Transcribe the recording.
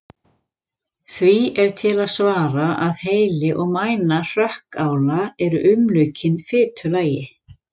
Því er til að svara að heili og mæna hrökkála eru umlukin fitulagi.